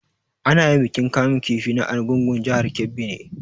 Ana yin bikin kamun kifi na argungua jihar Kebbi ne